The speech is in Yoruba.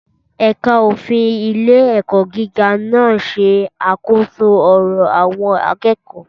Ẹ̀ka òfin ilé-ẹ̀kọ́ gíga náà ṣe àkóso ọ̀rọ̀ àwọn akẹ́kọ̀ọ́.